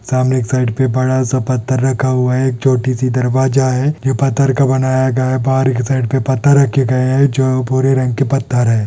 समाने एक साइड से बड़ा सा एक पत्थर रखा हुआ है छोटी सी दरवाजा है ये पत्थर का बनाया गया है जो भूरे रंग के पत्थर है|